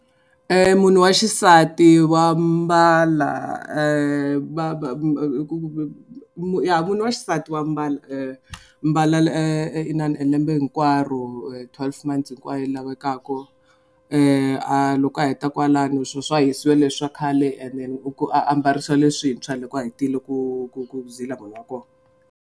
Munhu wa xisati wa mbala ya munhu wa xisati wa mbala mbala e inana e lembe hinkwaro twelve months hinkwayo lavekaku a loko a heta kwalano swo swa hisiwa leswi swa khale and then a ambarisiwa leswintshwa loko a hetile ku ku ku zila munhu wa kona.